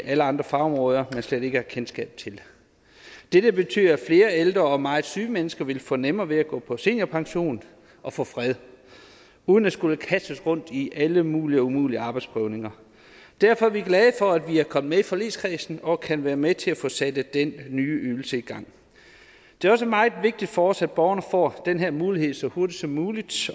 alle andre fagområder man slet ikke har kendskab til dette betyder at flere ældre og meget syge mennesker vil få nemmere ved at gå på seniorpension og få fred uden at skulle kastes rundt i alle mulige og umulige arbejdsprøvninger derfor er vi glade for at vi kom med i forligskredsen og kan være med til at få sat den nye ydelse i gang det er også meget vigtigt for os at borgerne får den her mulighed så hurtigt som muligt